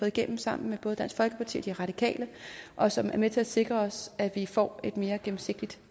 igennem sammen med både dansk folkeparti og de radikale og som er med til at sikre os at vi får et mere gennemsigtigt